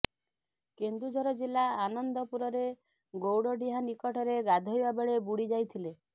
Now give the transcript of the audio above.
କେନ୍ଦୁଝର ଜିଲ୍ଲା ଆନନ୍ଦପୁରରେ ଗୌଡ଼ଡିହା ନିକଟରେ ଗାଧୋଇବା ବେଳେ ବୁଡ଼ିଯାଇଥିଲେ